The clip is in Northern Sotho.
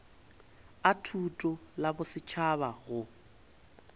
a thuto la bosetšhaba go